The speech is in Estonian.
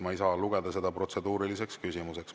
Ma ei saa lugeda seda protseduuriliseks küsimuseks.